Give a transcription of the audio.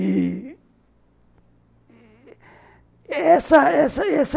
E essa essa essa